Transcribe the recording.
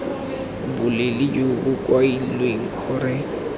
boleele jo bo kailweng gore